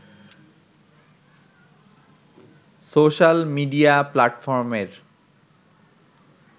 social media প্লাটফর্মের